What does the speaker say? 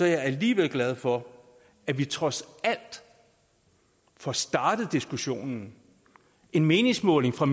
jeg alligevel glad for at vi trods alt får startet diskussionen en meningsmåling fra